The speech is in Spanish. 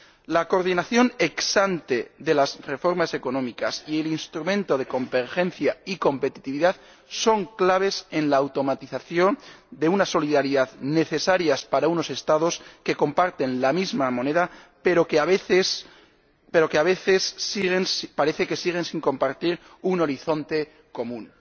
La coordinación ex ante de las reformas económicas y el instrumento de convergencia y competitividad son claves en la automatización de una solidaridad necesaria para unos Estados que comparten la misma moneda pero que, a veces, parece que siguen sin compartir un horizonte común.